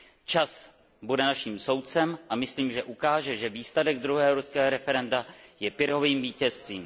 Čas bude naším soudcem a myslím, že ukáže, že výsledek druhého irského referenda je Pyrrhovým vítězstvím.